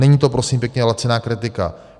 Není to, prosím pěkně, laciná kritika.